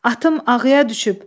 Atım ağıya düşüb.